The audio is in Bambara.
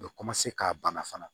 U bɛ ka bana fana